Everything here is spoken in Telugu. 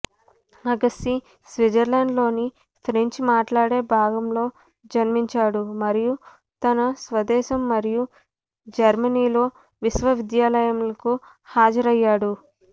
అగస్సీ స్విట్జర్లాండ్లోని ఫ్రెంచ్ మాట్లాడే భాగంలో జన్మించాడు మరియు తన స్వదేశం మరియు జర్మనీలో విశ్వవిద్యాలయాలకు హాజరయ్యాడు